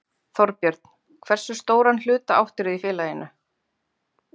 Þorbjörn: Hversu stóran hluta áttirðu í félaginu?